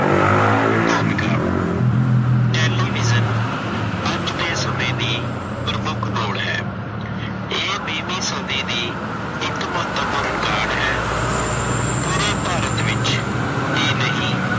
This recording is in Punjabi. ਭੂਮਿਕਾ- ਟੈਲੀਵਿਜ਼ਨ ਅੱਜ ਦੇ ਸਮੇਂ ਦੀ ਪ੍ਰਮੁੱਖ ਲੋੜ ਹੈ। ਇਹ ਵੀਹਵੀਂ ਸਦੀ ਦੀ ਇੱਕ ਮਹੱਤਵਪੁਰਨ ਕਾਢ ਹੈ। ਪੂਰੇ ਭਾਰਤ ਵਿੱਚ ਹੀ ਨਹੀਂ